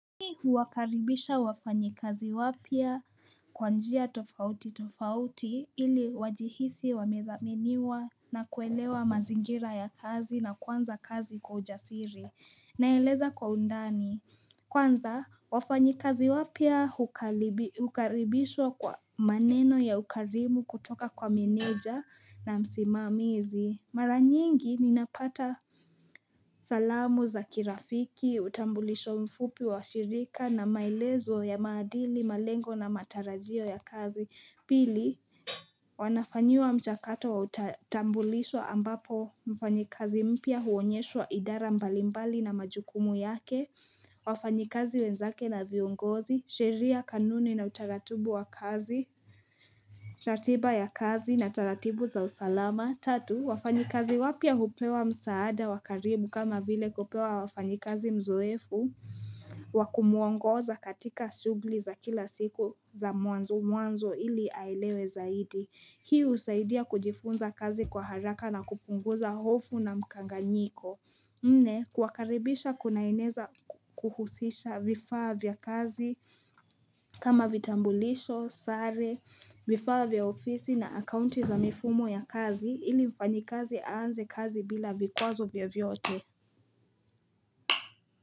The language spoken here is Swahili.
Mii huakaribisha wafanyikazi wapya kwa njia tofauti tofauti ili wajihisi wamedhaminiwa na kuelewa mazingira ya kazi na kwanza kazi kwa ujasiri naeleza kwa undani. Kwanza wafanyikazi wapya hukaribishwa kwa maneno ya ukarimu kutoka kwa meneja na msimamizi. Mara nyingi ninapata salamu za kirafiki, utambulisho mfupi wa shirika na maelezo ya maadili, malengo na matarajio ya kazi. Pili, wanafanyiwa mchakato wa utambulisho ambapo mfanyikazi mpya huonyeshwa idara mbalimbali na majukumu yake, wafanyikazi wenzake na viongozi, sheria, kanuni na utaratibu wa kazi, ratiba ya kazi na taratibu za usalama. Tatu, wafanyikazi wapya hupewa msaada wa karibu kama vile kupewa wafanyikazi mzoefu wakumuongoza katika shugli za kila siku za mwanzo mwanzo ili aelewe zaidi. Hii husaidia kujifunza kazi kwa haraka na kupunguza hofu na mkanganyiko. Nne kuwakaribisha kunaeneza kuhusisha vifaa vya kazi kama vitambulisho, sare, vifaa vya ofisi na akaunti za mifumo ya kazi ili mfanyikazi aanze kazi bila vikwazo vyovyote.